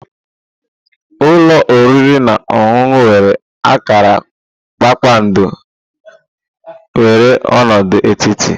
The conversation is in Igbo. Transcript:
Ulo oriri na ọṅụṅụ nwere akara kpakpando nwere ọnọdụ etiti.